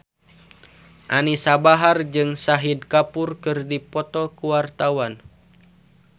Anisa Bahar jeung Shahid Kapoor keur dipoto ku wartawan